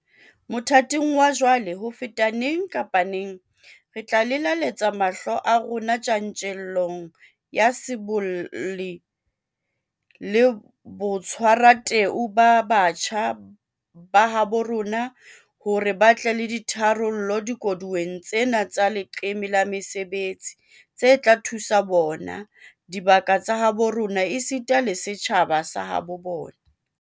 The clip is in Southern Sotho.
Mothating wa jwale, ho feta neng kapa neng, re tla lelaletsa mahlo a rona tjantjellong ya bosibolli le botshwarateu ba batjha ba habo rona hore ba tle le ditharollo dikoduweng tsena tsa leqeme la mesebetsi tse tla thusa bona, dibaka tsa habo rona esita le setjhaba sa habo bona.